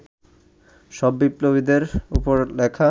সব বিপ্লবীদের ওপর লেখা